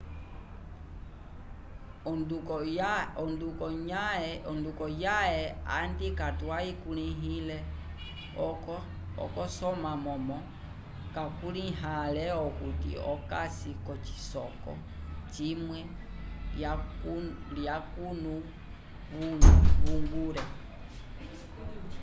ondukonyaye andi katwahikulihile kolo soma momo vakuliha ale okuti okasi kocisoko cimwue ya cunu uigur